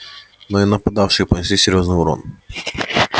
но и нападавшие понесли серьёзный урон